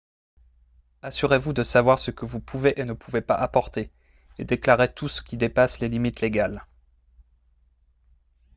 assurez-vous de savoir ce que vous pouvez et ne pouvez pas apporter et déclarez tout ce qui dépasse les limites légales